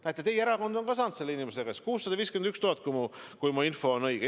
Näete, teie erakond on saanud selle inimese käest 651 000 eurot, kui mu info on õige.